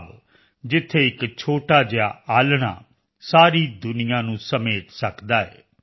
ਭਾਵ ਜਿੱਥੇ ਇੱਕ ਛੋਟਾ ਜਿਹਾ ਆਲ੍ਹਣਾ ਸਾਰੀ ਦੁਨੀਆ ਨੂੰ ਸਮੇਟ ਸਕਦਾ ਹੈ